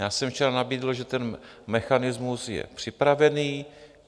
Já jsem včera nabídl, že ten mechanismus je připravený.